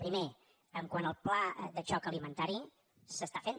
primer quant al pla de xoc alimentari s’està fent